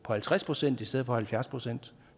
på halvtreds procent i stedet for halvfjerds procent